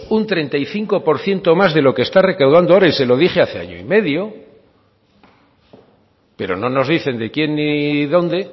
un treinta y cinco por ciento más de lo que está recaudando ahora y se lo dije hace año y medio pero no nos dicen de quién y dónde